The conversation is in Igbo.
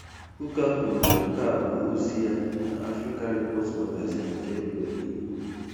Kụkah kwuru na nke a bụ ozi ya na Africa Report Magazine nke April Igbo.